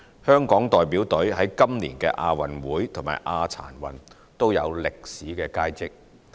香港代表隊在今年的亞運會和亞殘運也有歷史佳績。